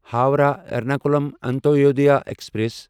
Howrah Ernakulam Antyodaya express